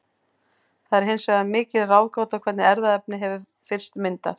Það er hins vegar mikil ráðgáta hvernig erfðaefni hefur fyrst myndast.